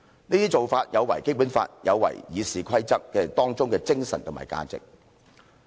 這些做法有違《基本法》，有違《議事規則》當中精神及價值。